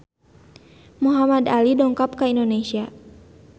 Muhamad Ali dongkap ka Indonesia